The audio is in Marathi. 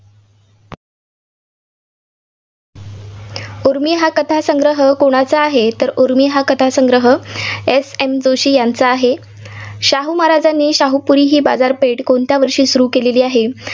उर्मी हा कथासंग्रह कोणाचा आहे? तर उर्मी हा कथासंग्रह SM जोशी यांचा आहे. शाहू महाराजांनी शाहूपुरी बाजारपेठ कोणत्या वर्षी सुरू केलेली आहे?